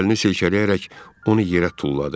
Əlini silkələyərək onu yerə tulladı.